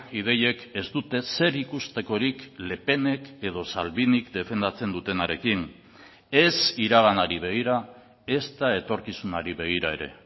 ideiek ez dute zer ikustekorik le penek edo salvinik defendatzen dutenarekin ez iraganari begira ezta etorkizunari begira ere